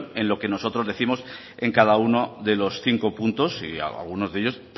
en lo que nosotros décimos en cada uno de los cinco puntos y algunos de ellos